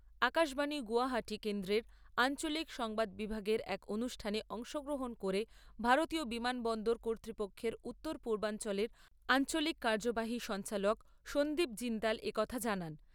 আকাশবাণী গৌহাটি কেন্দ্রের আঞ্চলিক সংবাদ বিভাগের এক অনুষ্ঠানে অংশগ্রহণ করে ভারতীয় বিমানবন্দর কর্তৃপক্ষের উত্তর পূর্বাঞ্চলের আঞ্চলিক কার্যবাহী সঞ্চালক সঞ্চীব জিন্দাল একথা জানান।